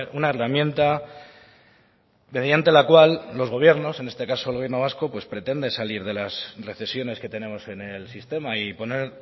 una herramienta mediante la cual los gobiernos en este caso el gobierno vasco pues pretende salir de las recesiones que tenemos en el sistema y poner